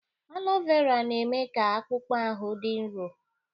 Alo Vera na-eme ka akpụkpọ ahụ dị nro.